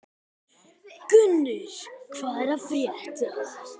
Gunnur, hvað er að frétta?